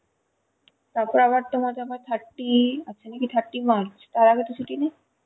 তারপর আবার তোমার আবার thirty thirty march তার আগে ছুটি নেই?